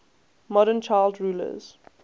modern child rulers